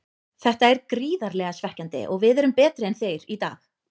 Þetta er gríðarlega svekkjandi og við erum betri en þeir í dag.